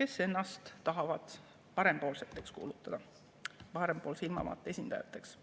kes on kuulutanud ennast parempoolseteks, parempoolse ilmavaate esindajateks.